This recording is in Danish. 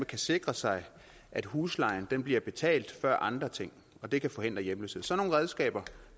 kan sikre sig at huslejen bliver betalt før andre ting og det kan forhindre hjemløshed sådan nogle redskaber